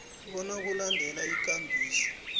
bona kulandelwe ikambiso